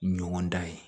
Ɲɔgɔn dan ye